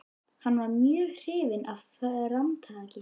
Hann varð mjög hrifinn af framtaki